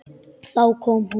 Þá kom hún.